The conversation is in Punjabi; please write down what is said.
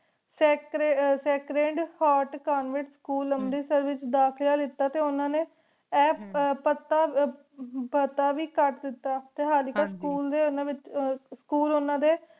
ਸਾਕ੍ਰੇੰਡ ਹੋਤ ਕੋਨ੍ਫ੍ਰੇੱਸ ਸਕੂਲ ਅੰਮ੍ਰਿਤਸਰ ਵਿਚ ਦਾਖਲਾ ਲੀਤਾ ਟੀ ਓਹਨਾ ਨੀ ਆਯ ਪਤਾ ਵੇ ਕਤ ਦਿਤਾ ਟੀ ਹਲਕੀ school ਦੇ ਓਹਨਾ ਵਿਚ school ਓਹਨਾ ਦੇ